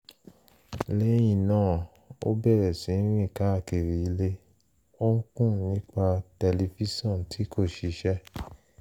lẹ́yìn náà ó bẹ̀rẹ̀ sí rìn káàkiri ilé ó ń kùn nípa tẹlifíṣọ̀n tí kò ṣiṣẹ́